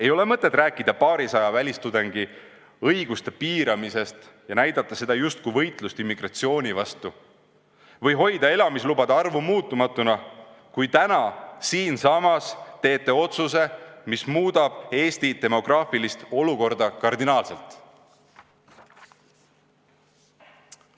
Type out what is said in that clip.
Ei ole mõtet rääkida paarisaja välistudengi õiguste piiramisest ja näidata seda justkui võitlusena immigratsiooni vastu või hoida elamislubade arvu muutumatuna, kui täna siinsamas teete otsuse, mis muudab Eesti demograafilist olukorda kardinaalselt.